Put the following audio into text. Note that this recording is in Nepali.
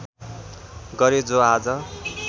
गरे जो आज